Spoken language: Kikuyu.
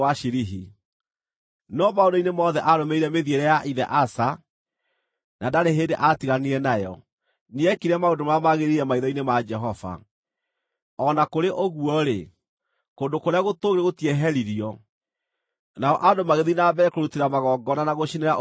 No maũndũ-inĩ mothe, aarũmĩrĩire mĩthiĩre ya ithe Asa na ndarĩ hĩndĩ aatiganire nayo; nĩekire maũndũ marĩa magĩrĩire maitho-inĩ ma Jehova. O na kũrĩ ũguo-rĩ, kũndũ kũrĩa gũtũũgĩru gũtieheririo, nao andũ magĩthiĩ na mbere kũrutĩra magongona na gũcinĩra ũbumba kuo.